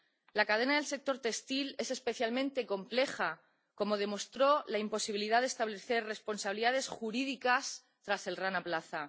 La cadena del sector textil es especialmente compleja, como demostró la imposibilidad de establecer responsabilidades jurídicas tras el Rana Plaza.